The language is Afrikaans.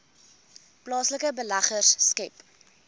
plaaslike beleggers skep